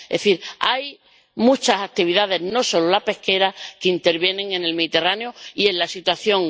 Es decir, hay muchas actividades, no solo la pesquera, que intervienen en el Mediterráneo y en la grave situación.